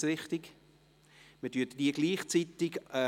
Dies scheint nicht bestritten zu sein.